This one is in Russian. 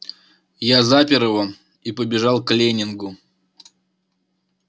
я запер его и побежал к лэннингу